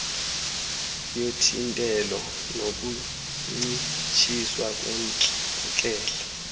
yothintelo nokuncitshiswa kwentlekelele